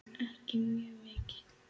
Ekki mjög mikið.